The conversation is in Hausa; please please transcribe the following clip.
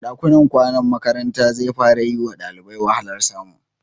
Ɗakunan kwanan makaranta zai fara yi wa ɗalibai wahalar samu.